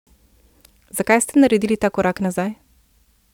Zakaj ste naredili ta korak nazaj?